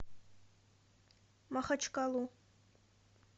махачкалу